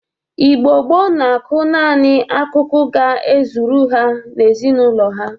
Igbo gboo na-akụ nani akụkụ ga ezuru ha na ezinaụlọ ha.